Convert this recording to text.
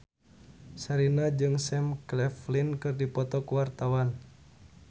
Sherina jeung Sam Claflin keur dipoto ku wartawan